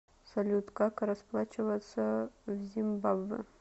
салют как расплачиваться в зимбабве